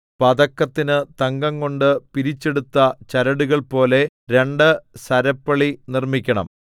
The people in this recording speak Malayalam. പതക്കത്തിന് തങ്കംകൊണ്ട് പിരിച്ചെടുത്ത ചരടുകൾ പോലെ രണ്ട് സരപ്പളി നിർമ്മിക്കണം